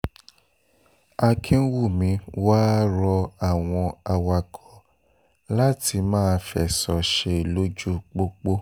akínwùmí wàá rọ àwọn awakọ̀ láti máa fẹ̀sọ̀ ṣe lójú pópó